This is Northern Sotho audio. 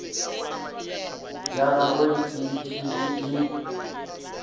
ya gagwe e šetše e